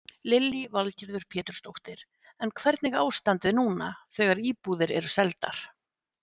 Lillý Valgerður Pétursdóttir: En hvernig ástandið núna þegar íbúðir eru seldar?